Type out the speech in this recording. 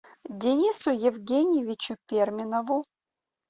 денису евгеньевичу перминову